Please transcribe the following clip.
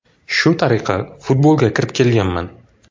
Shu tariqa futbolga kirib kelganman.